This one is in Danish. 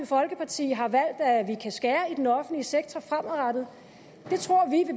folkeparti har valgt at vi kan skære i den offentlige sektor fremadrettet